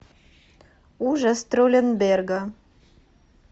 ужас тролленберга